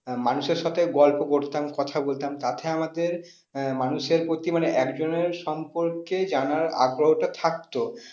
আহ মানুষের সাথে গল্প করতাম কথা বলতাম তাতে আমাদের আহ মানুষের প্রতি মানে একজনের সম্পর্কে জানার আগ্রহটা থাকতো।